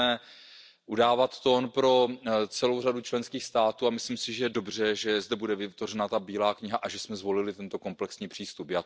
My budeme udávat tón pro celou řadu členských států a myslím si, že je dobře, že zde bude vytvořena bílá kniha a že jsme zvolili tento komplexní přístup.